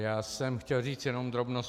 Já jsem chtěl říct jenom drobnost.